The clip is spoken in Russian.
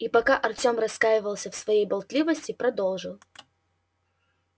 и пока артем раскаивался в своей болтливости продолжил